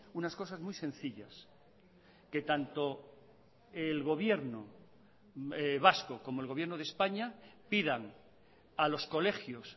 unas cosas muy sencillas que tanto el gobierno vasco como el gobierno de españa pidan a los colegios